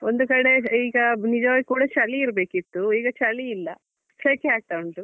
ಒಂದು ಕಡೆ ಈಗ ನಿಜವಾಗಿ ಕೂಡ ಚಳಿ ಇರ್ಬೇಕಿತ್ತು ಈಗ ಚಳಿ ಇಲ್ಲ ಸೆಕೆ ಆಗ್ತಾ ಉಂಟು.